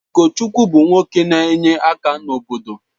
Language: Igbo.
Ugochukwu bụ nwoke n'enye aka n’obodo.